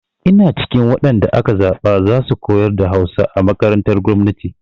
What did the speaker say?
Ina cikin waɗan da aka zaɓa za su koyar da Hausa a makarantar gwamnati.